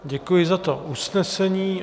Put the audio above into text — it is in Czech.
Děkuji za to usnesení.